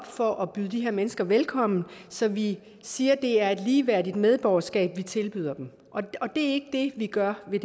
for at byde de her mennesker velkomne så vi siger at det er et ligeværdigt medborgerskab vi tilbyder dem det gør vi